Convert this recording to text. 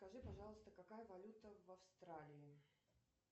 скажи пожалуйста какая валюта в австралии